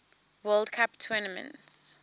world cup tournament